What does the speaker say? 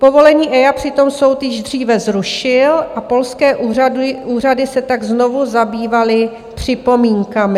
Povolení EIA přitom soud již dříve zrušil a polské úřady se tak znovu zabývaly připomínkami.